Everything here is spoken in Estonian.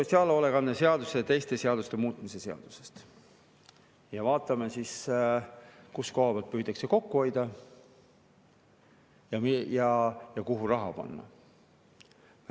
Räägime sotsiaalhoolekande seaduse ja teiste seaduste muutmise seaduse ja vaatame siis, mis koha pealt püütakse kokku hoida ja kuhu raha panna.